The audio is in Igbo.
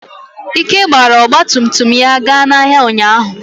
Ike gbara ọgba tum tum ga n'ahịa ụnyahụ.